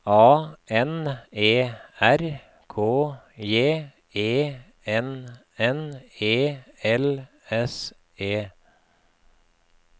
A N E R K J E N N E L S E